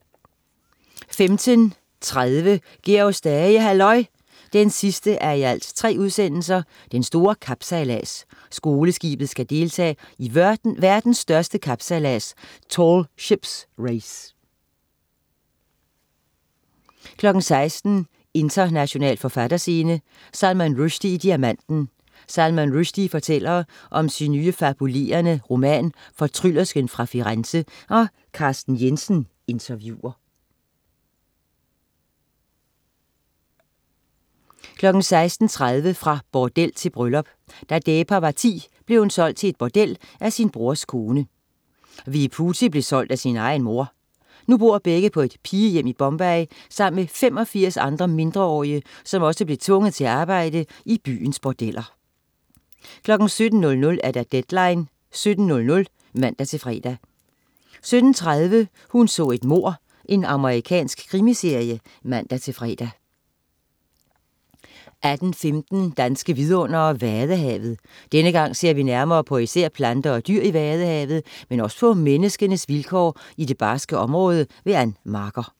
15.30 Georg Stage, halløj! 3:3. Den store kapsejlads. Skoleskibet skal deltage i verdens største kapsejlads Tall Ships Race 16.00 International forfatterscene: Salman Rushdie i Diamanten. Salman Rushdie fortæller om sin nye fabulerende roman "Fortryllersken fra Firenze". Carsten Jensen interviewer 16.30 Fra bordel til bryllup. Da Deepa var 10, blev hun solgt til et bordel af sin brors kone. Vibuthi blev solgt af sin egen mor. Nu bor begge på et pigehjem i Bombay sammen med 85 andre mindreårige, som også blev tvunget til at arbejde i byens bordeller 17.00 Deadline 17:00 (man-fre) 17.30 Hun så et mord. Amerikansk krimiserie (man-fre) 18.15 Danske vidundere: Vadehavet. Denne gang ser vi nærmere på især planter og dyr i Vadehavet, men også på menneskenes vilkår i det barske område. Ann Marker